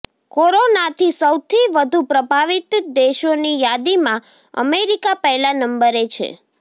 કોરોનાથી સૌથી વધુ પ્રભાવિત દેશોની યાદીમાં અમેરિકા પહેલા નંબરે છે